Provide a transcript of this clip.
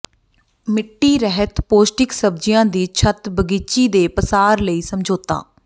ਮਿੱਟੀ ਰਹਿਤ ਪੌਸ਼ਟਿਕ ਸਬਜ਼ੀਆਂ ਦੀ ਛੱਤ ਬਗੀਚੀ ਦੇ ਪਸਾਰ ਲਈ ਸਮਝੌਤਾ